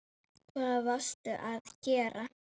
Hvað varstu að gera?